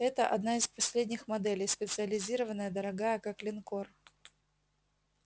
это одна из последних моделей специализированная дорогая как линкор